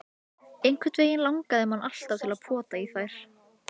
Einhvernveginn langaði mann alltaf til að pota í þær.